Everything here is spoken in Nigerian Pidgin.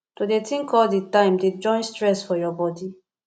to dey tink all di time dey join stress for your bodi